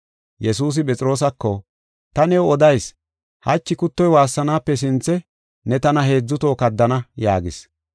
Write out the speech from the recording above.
Yesuusi Phexroosako, “Ta new odayis; hachi kuttoy waassanaape sinthe ne tana heedzu toho kaddana” yaagis.